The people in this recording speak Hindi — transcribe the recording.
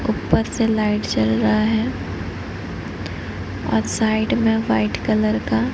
ऊपर से लाइट जल रहा है और साइड में व्हाइट कलर का--